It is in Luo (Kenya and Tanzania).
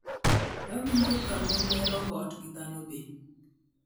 Awinjo kama ne robot gi dhano be'.